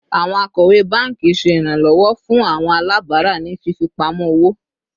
Awọn akọwe banki ṣe iranlọwọ fun awọn alabara ni fifipamọ owo